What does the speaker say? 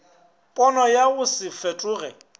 pono ya go se fetoge